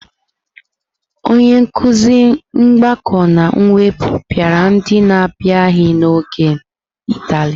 onye nkuzi mgbakọ na mwepụ pịara ndị n'abịaghị n'oge ntali.